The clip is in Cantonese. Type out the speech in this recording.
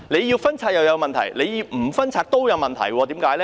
要拆帳有問題，不拆帳也有問題，原因為何？